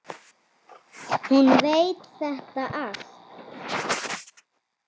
Hún veit þetta allt.